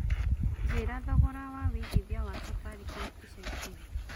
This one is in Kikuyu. njĩira thogora wa wĩigĩthĩa wa safaricom ĩca ĩkũhĩ